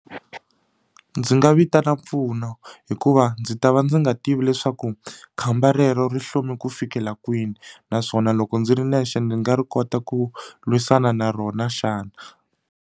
Ndzi nga vitana mpfuno hikuva ndzi ta va ndzi nga tivi leswaku khamba rero ri hlome ku fikela kwini naswona loko ndzi ri nexe ndzi nga ri kota ku lwisana na rona xana.